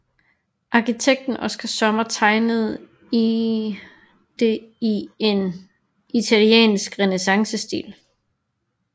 Arkitekten Oskar Sommer tegnede det i en italiensk renæssancestil